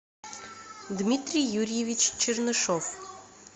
дмитрий юрьевич чернышов